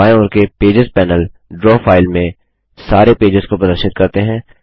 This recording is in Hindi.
बाएँ ओर के पेजेस पैनल ड्रा फाइल में सारे पेजेस को प्रदर्शित करते हैं